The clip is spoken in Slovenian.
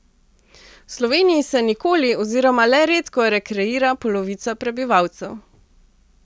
V Sloveniji se nikoli oziroma le redko rekreira polovica prebivalcev.